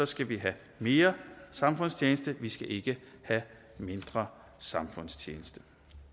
skal vi have mere samfundstjeneste vi skal ikke have mindre samfundstjeneste